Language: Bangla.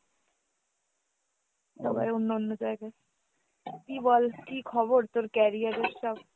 সবাই অন্যান্য জায়গায়। কী বল কী খবর তোর career এর সব?